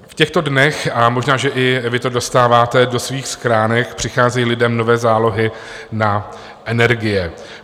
V těchto dnech, a možná že i vy to dostáváte do svých schránek, přicházejí lidem nové zálohy na energie.